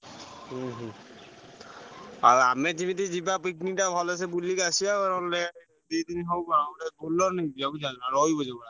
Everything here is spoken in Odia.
ହୁଁ ହୁଁ ଆଉ ଆମେ ଯେମିତି ଯିବା picnic ଟା ଭଲସେ ବୁଲିକି ଆସିଆ ନହେଲେ ଦି ଦିନି ହବ ଗୋଟେ Bolero ନେଇକି ଯିବା ବୁଝିପାରୁଛନା ରହିବ ଯୋଉଭଳିଆ।